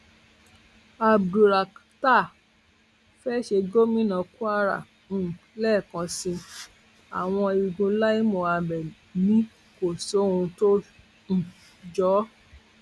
abdulrakhtar fee ṣe gómìnà kwara um lẹẹkan sí i àwọn igun lai muhammed ni kò sóhun tó um jọ ọ